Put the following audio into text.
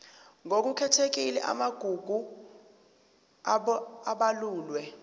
ngokukhethekile amagugu abalulwe